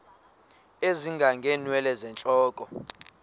ezinga ngeenwele zentloko